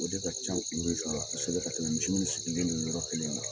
O de ka ca kosɛbɛ ka tɛmɛ misiw sirilen bɛ yɔrɔ kelen na.